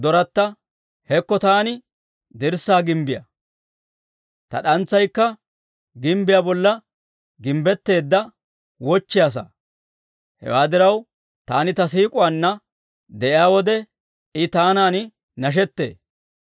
Hekko taani dirssaa gimbbiyaa; ta d'antsaykka gimbbiyaa bolla gimbbetteedda wochchiyaa saa; hewaa diraw, taani ta siik'uwaanna de'iyaa wode, I taanan nashettee.